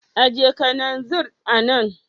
Ajiye kananzir a nan.